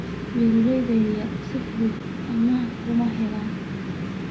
Beeralayda yar yar si fudud amaah kuma helaan.